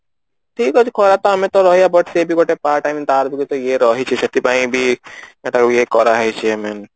ଠିକ ଅଛି ଖରା ତ ଆମେ ତ but ସେ ବି ଗୋଟେ part I mean ତାର ବି ଗୋଟେ ଇଏ ରହିଚି ସେଥିପାଇଁ ବି ତାକୁ ଇଏ କର ହେଇଚି